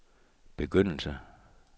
begyndelse